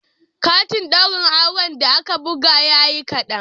Katin ɗaurin auren da aka buga yayi kaɗan